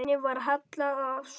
Henni var hallað að stöfum.